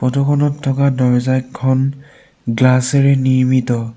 Photo খনত থকা দৰ্জাখন গ্লাচ এৰে নিৰ্মিত।